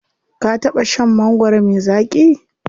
Ka taɓa shan mangwaro me zaƙi?